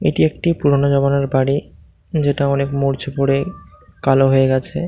''এটি একটি পুরোনো জামানার বাড়ি যেটা ''''অনেক মরচে পরে কালো হয়ে গেছে। ''